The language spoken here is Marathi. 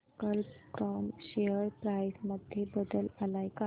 कल्प कॉम शेअर प्राइस मध्ये बदल आलाय का